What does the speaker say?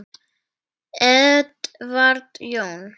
Edward Jón.